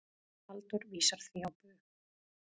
Halldór vísar því á bug.